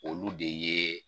Olu de ye